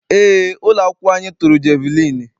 Eé, ụlọakwụkwọ anyị tụrụ jeviliini.